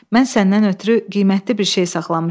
Mən səndən ötrü qiymətli bir şey saxlamışam.